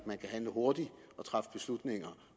man kan handle hurtigt og træffe beslutninger